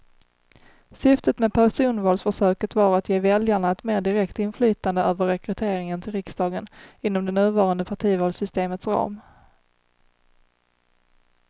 Syftet med personvalsförsöket var att ge väljarna ett mer direkt inflytande över rekryteringen till riksdagen inom det nuvarande partivalssystemets ram.